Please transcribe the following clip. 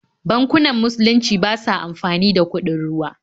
Bankunan musulunci ba sa amfani da kuɗin ruwa.